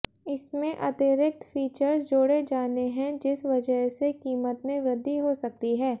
इसमें अतिरिक्त फीचर्स जोड़े जाने हैं जिस वजह से कीमत में वृद्धि हो सकती है